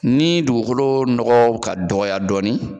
Ni dugukolo nɔgɔ bɛ ka dɔgɔya dɔɔnin.